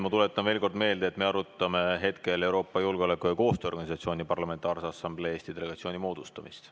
Ma tuletan veel kord meelde, et me arutame hetkel Euroopa Julgeoleku‑ ja Koostööorganisatsiooni Parlamentaarse Assamblee Eesti delegatsiooni moodustamist.